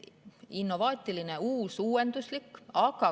Innovaatiline on uus, uuenduslik.